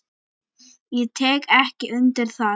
Ég tek ekki undir það.